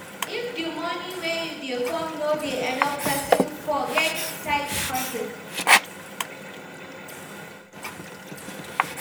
If di money wey dey come no dey enough person fot get side hustle